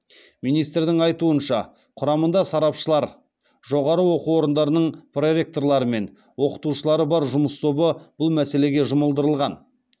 министрдің айтуынша құрамында сарапшылар жоғары оқу орындарының проректорлары мен оқытушылар бар жұмыс тобы бұл мәселеге жұмылдырылған